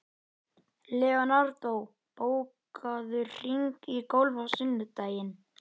Leonardó, bókaðu hring í golf á sunnudaginn.